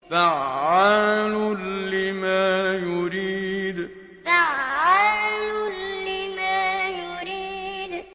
فَعَّالٌ لِّمَا يُرِيدُ فَعَّالٌ لِّمَا يُرِيدُ